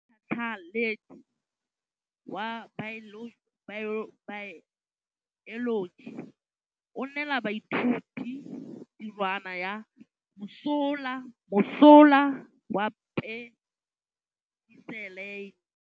Motlhatlhaledi wa baeloji o neela baithuti tirwana ya mosola wa peniselene.